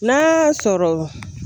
N'a y'a sɔrɔ